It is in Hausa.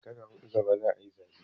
Shekara huɗu gaba za a yi zaɓe.